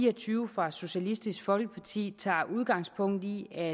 og tyve fra socialistisk folkeparti tager udgangspunkt i at